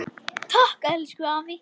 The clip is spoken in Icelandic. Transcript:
Takk, elsku afi.